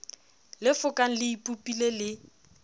le fokang le ipopile le